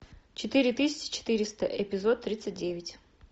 четыре тысячи четыреста эпизод тридцать девять